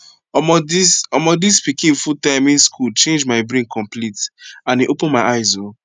omo this omo this pikin food timing school change my brain complete and e open my eyes oh